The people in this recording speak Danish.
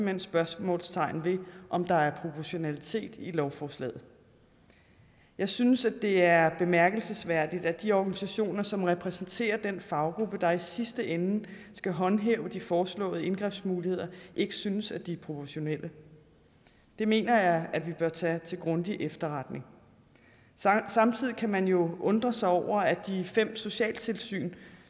hen spørgsmålstegn ved om der er proportionalitet i lovforslaget jeg synes at det er bemærkelsesværdigt at de organisationer som repræsenterer den faggruppe der i sidste ende skal håndhæve de foreslåede indgrebsmuligheder ikke synes at de er proportionelle det mener jeg vi bør tage til grundig efterretning samtidig kan man jo undres over at de fem socialtilsyn